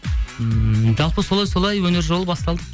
ммм жалпы солай солай өнер жолы басталды